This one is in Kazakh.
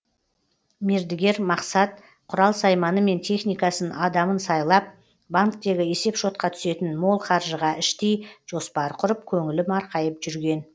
мердігер мақсат құрал сайманы мен техникасын адамын сайлап банктегі есеп шотқа түсетін мол қаржыға іштей жоспар құрып көңілі марқайып жүрген